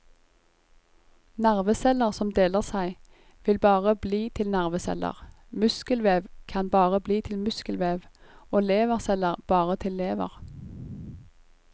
Nerveceller som deler seg, vil bare bli til nerveceller, muskelvev kan bare bli til muskelvev, og leverceller bare til lever.